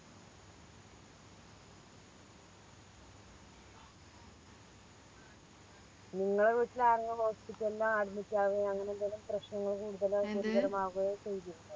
നിങ്ങളെ വീട്ടില് ആരെങ്കിലും Hospital ല് Admit ആവോ അങ്ങനെ എന്തേലും പ്രശ്നങ്ങള് കൂടുതലും ഗുരുതരമാകുകയോ ചെയ്തിരുന്നോ